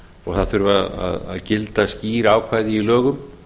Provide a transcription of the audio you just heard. og það þurfa að gilda skýr ákvæði í lögum